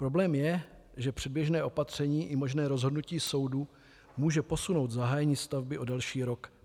Problém je, že předběžné opatření i možné rozhodnutí soudu může posunout zahájení stavby o další rok.